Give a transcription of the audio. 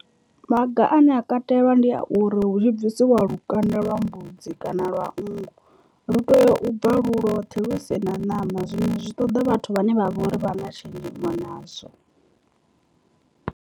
Maga ane a katelwa ndi a uri hu tshi bvisiwa lukanda lwa mbudzi kana lwa nngu lu tea u bva lu lwothe lu si na ṋama zwino zwi ṱoḓa vhathu vhane vha vhori vha na tshenzhemo nazwo.